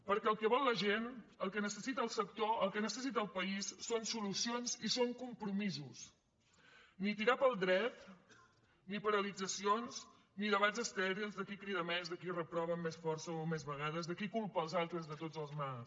perquè el que vol la gent el que necessita el sector el que necessita el país són solucions i són compromisos ni tirar pel dret ni paralitzacions ni debats estèrils de qui crida més de qui reprova amb més força o més vegades de qui culpa els altres de tots els mals